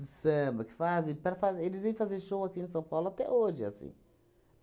O samba que fazem para fa, eles vêm fazer show aqui em São Paulo até hoje é assim